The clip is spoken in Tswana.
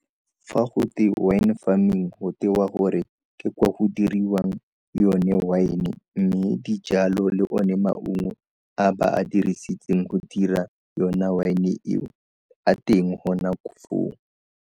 Fa go twe wine farming go tewa gore ke kwa go diriwang yone wine mme dijalo le o ne maungo a ba a dirisitseng go dira yona wine e a teng gona foo.